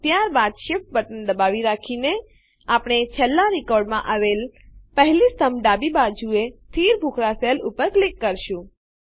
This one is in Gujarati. ત્યારબાદ Shift બટન દબાવી રાખીને આપણે છેલ્લાં રેકોર્ડમાં આવેલ પહેલી સ્તંભની ડાબી બાજુએ સ્થિત ભૂખરાં સેલ ઉપર ક્લિક કરીશું